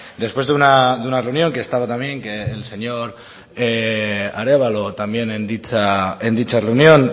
después de una reunión que estaba también el señor arévalo en dicha reunión